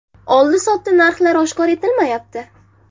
Oldi-sotdi narxi oshkor etilmayapti.